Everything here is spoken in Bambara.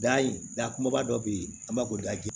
Dayi da kumaba dɔ bɛ ye an b'a fɔ ko